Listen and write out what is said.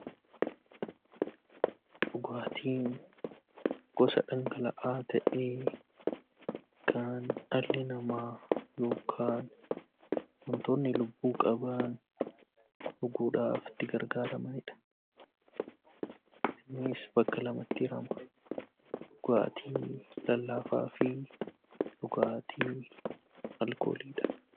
Dhugaatiin gosa dhangala'aa ta'ee kan dhalli namaa yookaan wantoonni lubbuu qaban dhuguudhaaf itti gargaaramanidha. Innis bakka lamatti hirama dhugaatii lallaafaa fi dhugaatii alkooliidha.